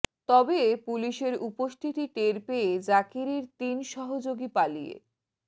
তবে পুলিশের উপস্থিতি টের পেয়ে জাকিরের তিন সহযোগী পালিয়ে